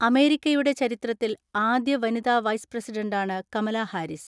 അമേരിക്കയുടെ ചരിത്രത്തിൽ ആദ്യ വനിതാ വൈസ് പ്രസിഡന്റാണ് കമലാ ഹാരിസ്.